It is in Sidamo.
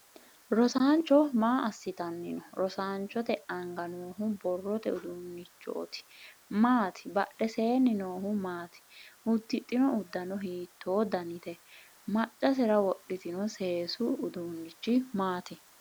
Rosaancho maa asitanni no? Roosaanchote anga noohu borrote uduunichoti maati badheseenni noohu maati? Udidhino udano hiitoo dannite? Macasera wodhitino seesu uduunnichi maati,?